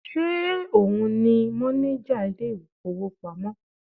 Ṣe òun ni mọ́néjà ilé ìfowópamọ́?